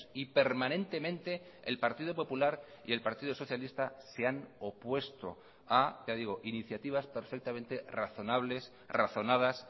y permanentemente el partido popular y el partido socialista se han opuesto a ya digo iniciativas perfectamente razonables razonadas